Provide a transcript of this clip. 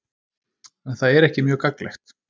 En það er ekki mjög gagnlegt.